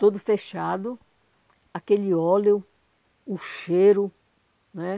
Tudo fechado, aquele óleo, o cheiro, né?